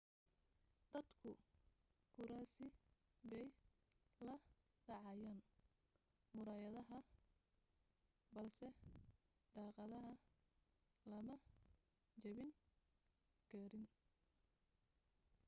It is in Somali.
dadku kuraasi bay la dhacayeen muraayadaha balse daaqadaha lama jabin karayn